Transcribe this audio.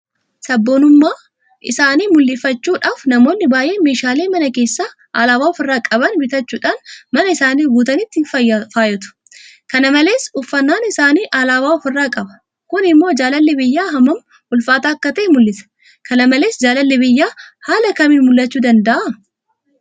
Sabboonummaa isaanii mul'ifachuudhaaf namoonni baay'een meeshaalee mana keessaa alaabaa ofirraa qaban bitachuudhaan mana isaanii guutanii ittiin faayyatu. Kana malees uffannaan isaaniis alaabaa ofirraa qaba. Kun immoo jaalalli biyyaa hammam ulfaataa akka ta'e mul'isa. Kana malee jaalalli biyyaa haala kamiin mul'achuu danda'a?